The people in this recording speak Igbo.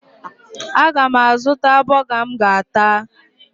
Aga m azụta bọga m ga-ata